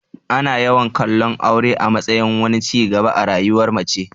Ana yawan kallon aure a matsayin wani ci gaba a rayuwar mace.